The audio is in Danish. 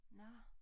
Nå